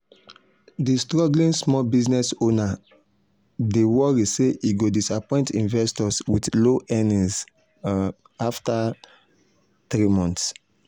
d struggling small business owner um dey worry say e go disappoint investors with low earnings um after um 3 months